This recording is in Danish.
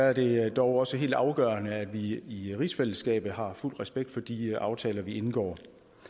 er det dog også helt afgørende at vi i rigsfællesskabet har fuld respekt for de aftaler vi indgår